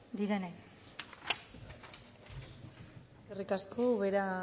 direnei eskerrik asko ubera